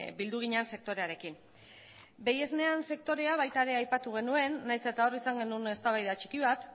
bildu ginen sektorearekin behi esneen sektorea baita ere aipatu genuen nahiz eta hor izan genuen eztabaida txiki bat